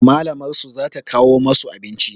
Malamar su za ta kawo masu abinci